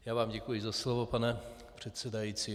Já vám děkuji za slovo, pane předsedající.